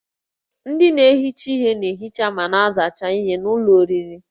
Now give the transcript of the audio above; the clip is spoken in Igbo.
Ndị na-ehicha ihe na-ehicha ma na-asachasị ihen'ụlọ oriri